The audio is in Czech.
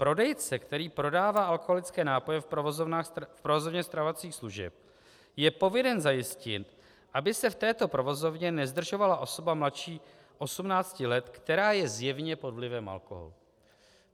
Prodejce, který prodává alkoholické nápoje v provozovně stravovacích služeb, je povinen zajistit, aby se v této provozovně nezdržovala osoba mladší 18 let, která je zjevně pod vlivem alkoholu.